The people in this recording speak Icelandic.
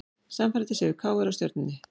Sannfærandi sigur KR á Stjörnunni